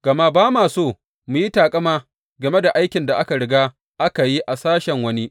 Gama ba ma so mu yi taƙama game da aikin da aka riga aka yi a sashen wani.